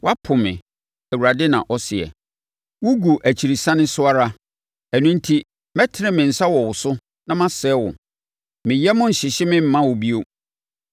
Woapo me,” Awurade na ɔseɛ. “Wogu akyirisane so ara. Ɛno enti mɛtene me nsa wɔ wo so na masɛe wo. Me yam renhyehye me mma wo bio.